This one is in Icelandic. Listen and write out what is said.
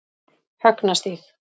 Högnastíg